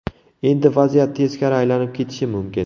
Endi vaziyat teskari aylanib ketishi mumkin.